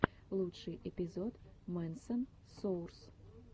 лучший эпизод мэнсон соурс